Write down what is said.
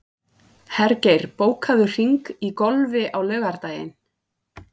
Hergeir, bókaðu hring í golf á laugardaginn.